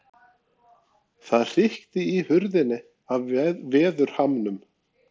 Það hrikti í hurðinni af veðurhamnum.